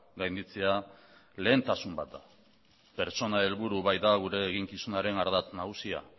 gainditzea lehentasun bat da pertsona helburu baita gure eginkizunaren ardatz nagusia